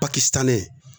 Paki tan ne